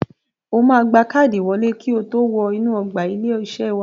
O máa gba káàdì ìwọlé kotó wọ inú ọgbà ilé-iṣé wa.